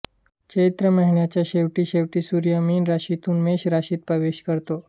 चैत्र महिन्याच्या शेवटी शेवटी सूर्य मीन राशीतून मेष राशीत प्रवेश करतो